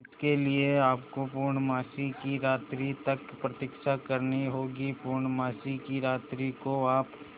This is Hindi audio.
इसके लिए आपको पूर्णमासी की रात्रि तक प्रतीक्षा करनी होगी पूर्णमासी की रात्रि को आप